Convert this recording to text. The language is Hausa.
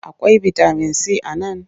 Akwai bitamin si a nan?